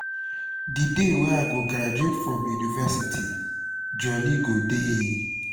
di day wey i go graduate from university jolly go dey